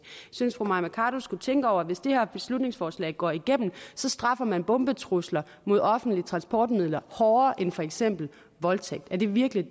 synes fru mai mercado skulle tænke over at hvis det her beslutningsforslag går igennem så straffer man bombetrusler mod offentlige transportmidler hårdere end for eksempel voldtægt er det virkelig